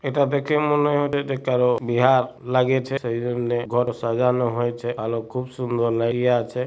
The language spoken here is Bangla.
এটা দেখে মনে হয় এটা কারো বিহার লাগিয়েছে সেই জন্য ঘর সাজানো হয়েছে আলো খুব সুন্দর লেগে আছে।